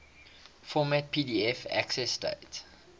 format pdf accessdate